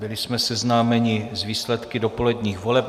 Byli jsme seznámeni s výsledky dopoledních voleb.